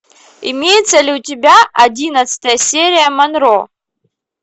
имеется ли у тебя одиннадцатая серия монро